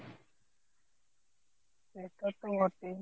সেটাতো বটেই